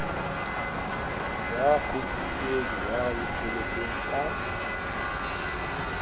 ya qositsweng ya lokollotsweng ka